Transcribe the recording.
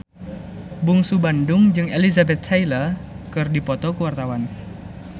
Bungsu Bandung jeung Elizabeth Taylor keur dipoto ku wartawan